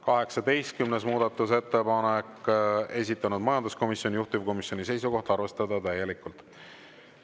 18. muudatusettepanek, esitanud majanduskomisjon, juhtivkomisjoni seisukoht on arvestada täielikult.